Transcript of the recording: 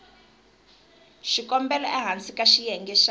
xikombelo ehansi ka xiyenge xa